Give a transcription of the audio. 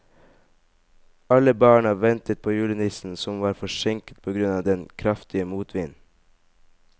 Alle barna ventet på julenissen, som var forsinket på grunn av den kraftige motvinden.